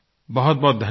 बहुतबहुत धन्यवाद